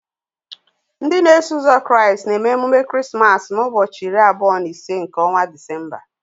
Ndị n'eso uzo Kraịst na-eme emume Christmas na ụbọchị iri abụo na ise nke ọnwa December